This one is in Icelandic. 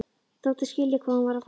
Þóttist skilja hvað hún var að fara.